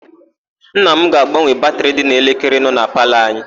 Nna m ga-agbanwe batịrị dị n'elekere nọ na palọ anyị.